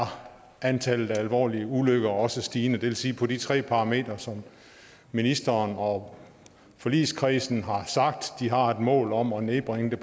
antallet af alvorlige ulykker også stigende det vil sige at på de tre parametre som ministeren og forligskredsen har sagt de har et mål om at nedbringe